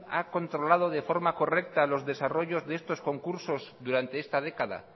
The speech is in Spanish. ha controlado de forma correcta los desarrollos de estos concursos durante esta década